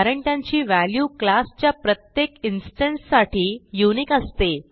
कारण त्यांची value class च्या प्रत्येक इन्स्टन्स साठी युनिक असते